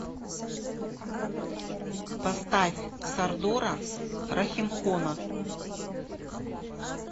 поставь сардора рахимхона